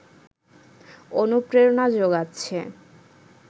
অনুপ্রেরণা জোগাচ্ছে